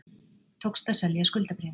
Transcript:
Tókst að selja skuldabréfin